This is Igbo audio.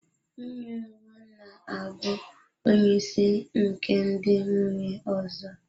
Nwunye mbụ na-abụ onye isi nke ndị nwunye ọzọ.